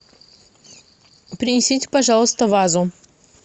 принесите пожалуйста вазу